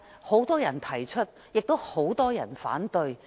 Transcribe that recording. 很多人也提出推行租管，亦有很多人反對。